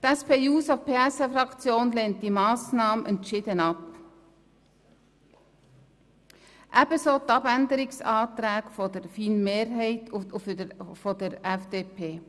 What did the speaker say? Die SP-JUSO-PSA-Fraktion lehnt diese Massnahme entschieden ab, ebenso die Planungserklärungen der FiKo-Mehrheit und der FDP.